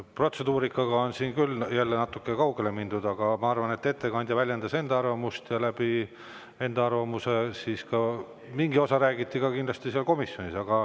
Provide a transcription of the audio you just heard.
Protseduurikaga on küll jälle natuke kaugele mindud, aga ma arvan, et ettekandja väljendas enda arvamust, kuid mingit osa sellest räägiti ka kindlasti komisjonis.